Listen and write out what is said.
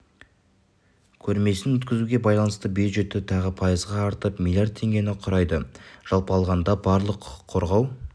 көрмесін өткізуге байланысты бюджеті тағы пайызға артып млрд теңгені құрайды жалпы алғанда барлық құқық қорғау